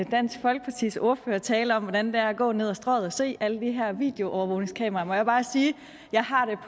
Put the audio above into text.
dansk folkepartis ordfører tale om hvordan det er at gå ned ad strøget og se alle de her videoovervågningskameraer må jeg bare sige at jeg har